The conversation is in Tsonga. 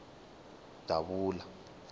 davula